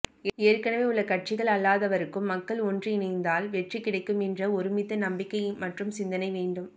ஏற்கனவே உள்ள கட்சிகள் அல்லாதவருக்கும் மக்கள் ஒன்று இணைந்தால் வெற்றி கிடைக்கும் என்ற ஒருமித்த நம்பிக்கை மற்றும் சிந்தனை வேண்டும்